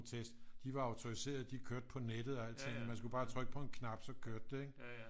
Test de var autoriserede de kørte på nettet og alt sådan man skulle bare trykke på en knap så kørte det ikke